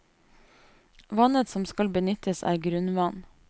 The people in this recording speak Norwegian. Vannet som skal benyttes er grunnvann.